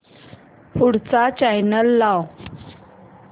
पुढचा चॅनल लाव